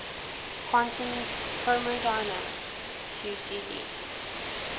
quantum chromodynamics qcd